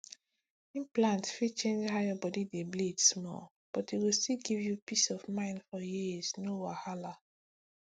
implant fit change how your body dey bleed small but e go still give you peace of mind for years no wahala